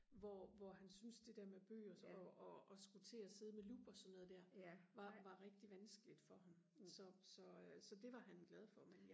hvor hvor han syntes det der med bøger og og og skulle til og sidde med lup og sådan noget der var var rigtig vanskeligt for ham så så øh så det var han glad for men